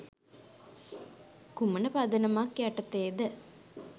කුමන පදනමක් යටතේද?